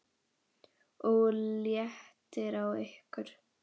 OG LÉTTIR Á YKKUR!